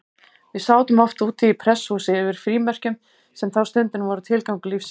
Við sátum oft úti í prestshúsi yfir frímerkjum, sem þá stundina voru tilgangur lífsins.